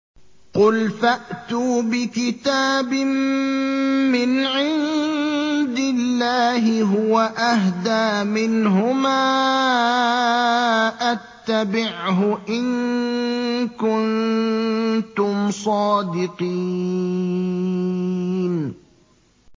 قُلْ فَأْتُوا بِكِتَابٍ مِّنْ عِندِ اللَّهِ هُوَ أَهْدَىٰ مِنْهُمَا أَتَّبِعْهُ إِن كُنتُمْ صَادِقِينَ